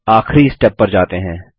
अब आखिरी स्टेप पर जाते हैं